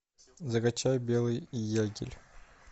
закачай белый ягель